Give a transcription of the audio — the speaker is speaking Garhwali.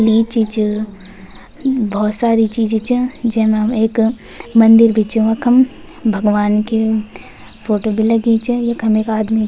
लीची च बहौत सारी चीजी च जैमा एक मंदिर भी च वखम भगवान् की फोटो भी लगीं च यखम एक आदमी --